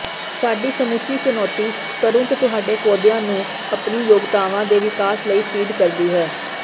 ਸਾਡੀ ਸਮੁੱਚੀ ਚੁਨੌਤੀ ਤੁਰੰਤ ਤੁਹਾਡੇ ਪੌਦਿਆਂ ਨੂੰ ਆਪਣੀ ਯੋਗਤਾਵਾਂ ਦੇ ਵਿਕਾਸ ਲਈ ਫੀਡ ਕਰਦੀ ਹੈ